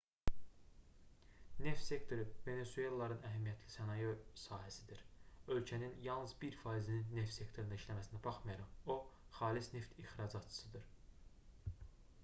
neft sektoru venesuelalıların əhəmiyyətli sənaye sahəsidir ölkənin yalnız 1%-nin neft sektorunda işləməsinə baxmayaraq o xalis neft ixracatçısıdır